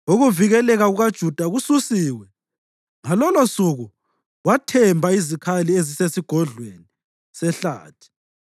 Ukuvikeleka kukaJuda kususiwe, Ngalolosuku wathemba izikhali eziseSigodlweni seHlathi,